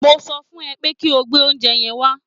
Mo sọ fún ẹ pé kí o gbé oúnjẹ yẹn wá